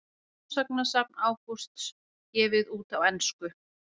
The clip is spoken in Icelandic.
Smásagnasafn Ágústs gefið út á ensku